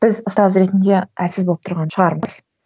біз ұстаз ретінде әлсіз болып тұрған шығармыз